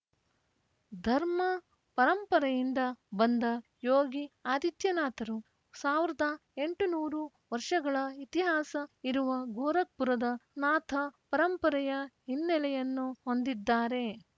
ಧರ್ಮ ಪರಂಪರೆಯಿಂದ ಬಂದ ಯೋಗಿ ಆದಿತ್ಯನಾಥರು ಸಾವಿರದ ಎಂಟುನೂರು ವರ್ಷಗಳ ಇತಿಹಾಸ ಇರುವ ಗೋರಖ್‌ಪುರದ ನಾಥ ಪರಂಪರೆಯ ಹಿನ್ನೆಲೆಯನ್ನು ಹೊಂದಿದ್ದಾರೆ